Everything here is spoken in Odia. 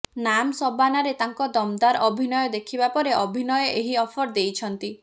ନାମ୍ ସବାନାରେ ତାଙ୍କ ଦମଦାର୍ ଅଭିନୟ ଦେଖିବା ପରେ ଅଭିନୟ ଏହି ଅଫର୍ ଦେଇଛନ୍ତି